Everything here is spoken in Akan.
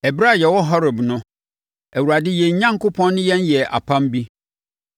Ɛberɛ a yɛwɔ Horeb no, Awurade yɛn Onyankopɔn ne yɛn yɛɛ apam bi.